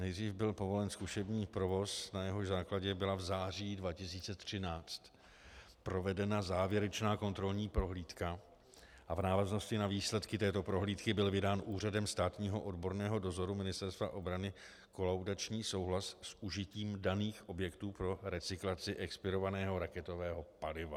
Nejdřív byl povolen zkušební provoz, na jehož základě byla v září 2013 provedena závěrečná kontrolní prohlídka a v návaznosti na výsledky této prohlídky byl vydán úřadem státního odborného dozoru Ministerstva obrany kolaudační souhlas s užitím daných objektů pro recyklaci expirovaného raketového paliva.